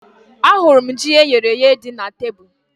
Ahụrụ m ji eyere èyé dị na tebụl